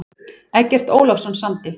Eggert Ólafsson samdi.